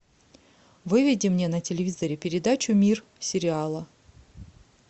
выведи мне на телевизоре передачу мир сериала